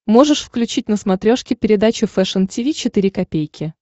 можешь включить на смотрешке передачу фэшн ти ви четыре ка